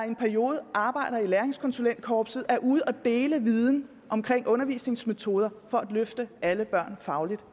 en periode arbejder i læringskonsulentkorpset de er ude at dele viden om undervisningsmetoder for at løfte alle børn fagligt